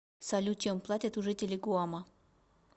салют чем платят у жителей гуама